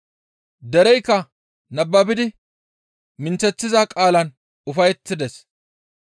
Dereykka nababidi minththeththiza qaalan ufayettides.